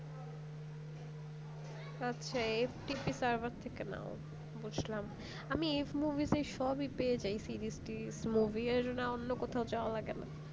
ও আচ্ছা এর FTP server থেকে নাও বুঝলাম আমি F movies তে সবই পেয়ে যাই series টিরিস movie য়ার অন্য কোথাও যাওয়া লাগে না